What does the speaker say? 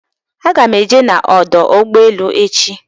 Aga m eje n'ọdọ ụgbọelu echi.